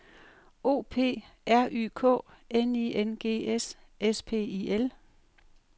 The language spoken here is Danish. O P R Y K N I N G S S P I L